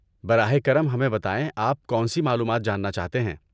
براہ کرم ہمیں بتائیں آپ کون سی معلومات جاننا چاہتے ہیں۔